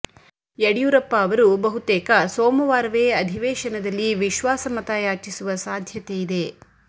ಯಡಿಯೂರಪ್ಪ ಅವರು ಬಹುತೇಕ ಸೋಮವಾರವೇ ಅಧಿವೇಶನದಲ್ಲಿ ವಿಶ್ವಾಸ ಮತ ಯಾಚಿಸುವ ಸಾಧ್ಯತೆ ಇದೆ